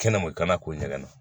Kɛnɛma kana k'o ɲɛgɛn na